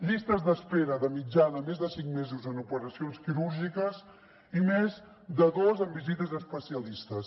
llistes d’espera de mitjana més de cinc mesos en operacions quirúrgiques i més de dos en visites especialistes